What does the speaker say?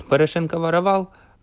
порошенко воровал